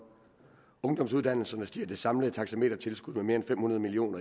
ungdomsuddannelserne stiger det samlede taxametertilskud med mere end fem hundrede million